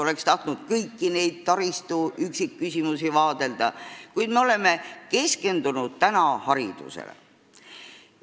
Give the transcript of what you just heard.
Oleks tahtnud kõiki neid taristu üksikküsimusi vaadelda, kuid me oleme keskendunud täna haridusele.